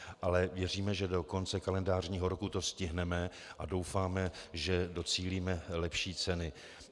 Ale věříme, že do konce kalendářního roku to stihneme, a doufáme, že docílíme lepší ceny.